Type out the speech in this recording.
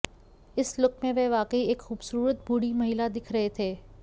इस लुक में वह वाकई एक खूबसूरत बूढ़ी महिला दिख रहे थे